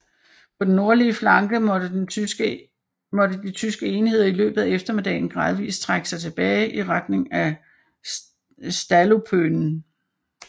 På den nordlige flanke måtte de tyske enheder i løbet af eftermiddagen gradvis trække sig tilbage i retning af Stallupönen